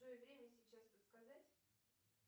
джой время сейчас подсказать